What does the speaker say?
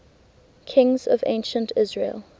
kings of ancient israel